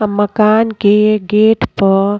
अ मकान के गेट पर --